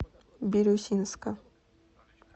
бирюсинска